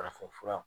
Farafinfura